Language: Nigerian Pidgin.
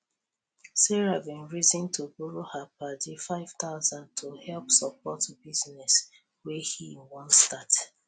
sarah bin reason to borrow her padi five thousand to help support businees wey he wan start